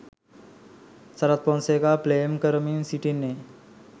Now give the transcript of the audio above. සරත් ෆොන්සේකාත් ප්ලේ කරමින් සිටින්නේ.